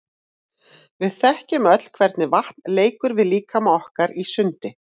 Við þekkjum öll hvernig vatn leikur við líkama okkar í sundi.